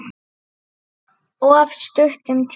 Of stuttum tíma.